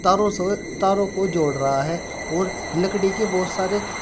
ओर वो तारों को जोड़ रहा है और लकड़ी के बहोत सारे--